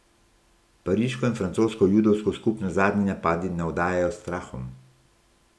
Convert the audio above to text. Pariško in francosko judovsko skupnost zadnji napadi navdajajo strahom.